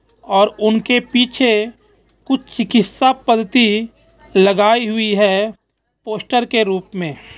और उनके पीछे कुछ चिकित्सा पंती लगाई हुई है पोस्टर के रूप में.